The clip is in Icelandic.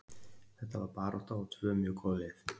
Þetta var barátta og tvö mjög góð lið.